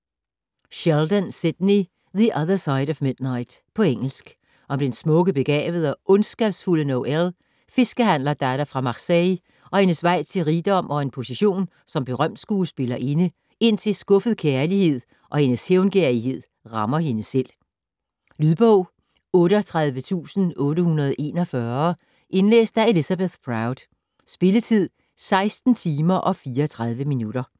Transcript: Sheldon, Sidney: The other side of midnight På engelsk. Om den smukke, begavede og ondskabsfulde Noelle, fiskehandlerdatter fra Marseille, og hendes vej til rigdom og en position som berømt skuespillerinde indtil skuffet kærlighed og hendes hævngerrighed rammer hende selv. Lydbog 38841 Indlæst af Elizabeth Proud. Spilletid: 16 timer, 34 minutter.